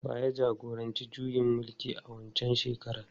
Wa ya jagoranci juyin mulkin a waccan shekarar?